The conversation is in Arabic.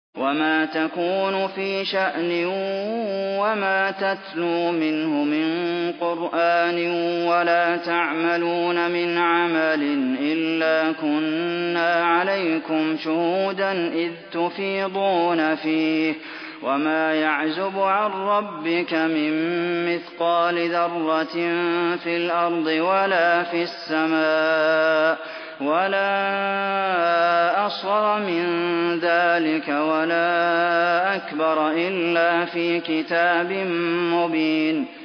وَمَا تَكُونُ فِي شَأْنٍ وَمَا تَتْلُو مِنْهُ مِن قُرْآنٍ وَلَا تَعْمَلُونَ مِنْ عَمَلٍ إِلَّا كُنَّا عَلَيْكُمْ شُهُودًا إِذْ تُفِيضُونَ فِيهِ ۚ وَمَا يَعْزُبُ عَن رَّبِّكَ مِن مِّثْقَالِ ذَرَّةٍ فِي الْأَرْضِ وَلَا فِي السَّمَاءِ وَلَا أَصْغَرَ مِن ذَٰلِكَ وَلَا أَكْبَرَ إِلَّا فِي كِتَابٍ مُّبِينٍ